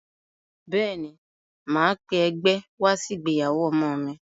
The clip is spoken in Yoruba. Bẹ́ẹ̀ ní, màá pé ẹgbẹ́ wá sí ìgbéyàwó ọmọ mi.